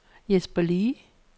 Jesper Le